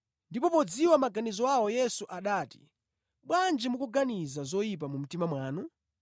Ndipo podziwa maganizo awo Yesu anati, “Bwanji mukuganiza zoyipa mʼmitima mwanu?